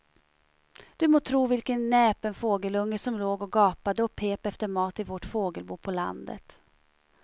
Du må tro vilken näpen fågelunge som låg och gapade och pep efter mat i vårt fågelbo på landet.